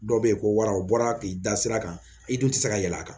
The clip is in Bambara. Dɔw bɛ yen ko wara u bɔra k'i da sira kan i dun tɛ se ka yɛlɛ a kan